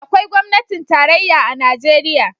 Akwai gwamnatin tarayya a Najeriya.